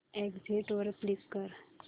exit वर click कर